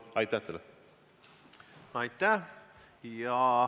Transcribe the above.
Aitäh!